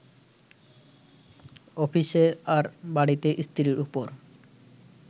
অফিসে, আর বাড়িতে স্ত্রীর ওপর